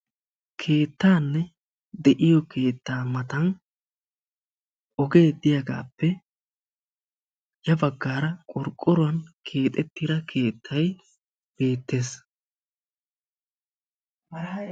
Keetta na'ay de'iyo keetta matan ogee de'iyappe yabagan qorqqoruwan keexettidda keettay de'ees.